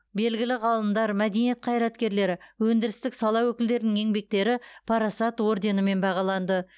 белгілі ғалымдар мәдениет қайраткерлері өндірістік сала өкілдерінің еңбектері парасат орденімен бағаланды